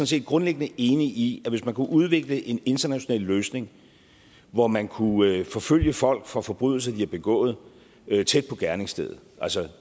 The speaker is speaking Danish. set grundlæggende enig i at hvis man kunne udvikle en international løsning hvor man kunne forfølge folk for forbrydelser de havde begået tæt på gerningsstedet